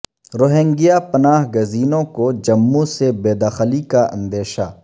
Rohingya پناہ گزینوں کو جموں سے بے دخلی کا اندیشہ